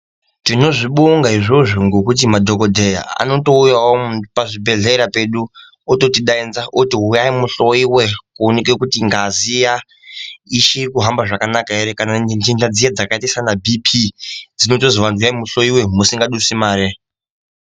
Tinozvibonga izvozvo ngekuti madhokodheya anotouya pazvibhedhlera zvedu ototi daidza oti huyai tihloiwe kuti ngazi ya uchiti kuhamba zvakanaka ere kana nyinga dzakaita sana BP tinozonzi uyai muhloier musina mare.